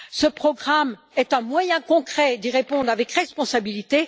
Ce programme est un moyen concret d'y répondre avec responsabilité.